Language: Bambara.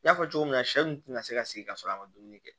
N y'a fɔ cogo min na sɛ nunnu tɛna se ka segin ka sɔrɔ a ma dumuni kɛ